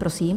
Prosím.